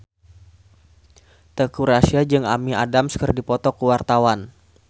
Teuku Rassya jeung Amy Adams keur dipoto ku wartawan